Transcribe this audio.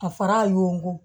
A fara y'o kun